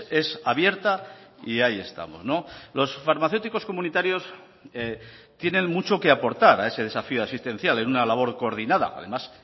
es abierta y ahí estamos los farmacéuticos comunitarios tienen mucho que aportar a ese desafío asistencial en una labor coordinada además